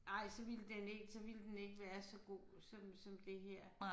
Nej så ville den ikke så ville den ikke være så god som som det her